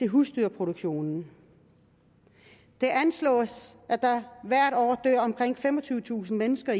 husdyrproduktionen det anslås at der i eu hvert år dør omkring femogtyvetusind mennesker